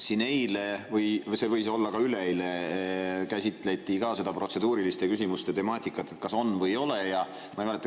Siin eile – see võis olla ka üleeile – käsitleti protseduuriliste küsimuste temaatikat, et kas on või ei ole.